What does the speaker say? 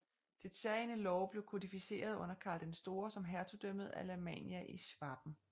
Dets særegne love blev kodificerede under Karl den store som hertugdømmet Alamannia i Schwaben